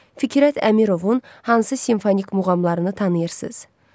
Fikrət Əmirovun hansı simfonik muğamlarını tanıyırsınız?